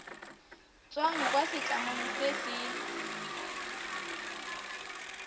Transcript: tswang kwa setlamong se se